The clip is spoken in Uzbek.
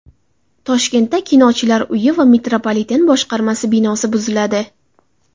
Toshkentda Kinochilar uyi va metropoliten boshqarmasi binosi buziladi .